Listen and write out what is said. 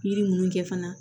Yiri ninnu kɛ fana